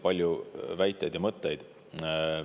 Palju väiteid ja mõtteid.